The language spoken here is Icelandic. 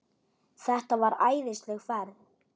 Þetta var æðisleg ferð.